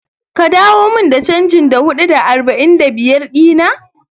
Ka dawo mun da chanjin Da hudu da arba'in da biyar dina?